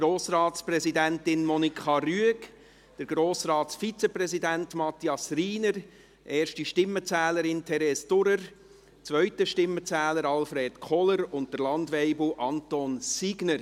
Grossratspräsidentin Monika Rüegg, Grossratsvizepräsident Matthias Rhiner, die erste Stimmenzählerin Theres Durrer, der zweite Stimmenzähler Alfred Koller und Landweibel Anton Signer.